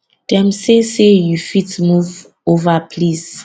dem say say you fit move ova please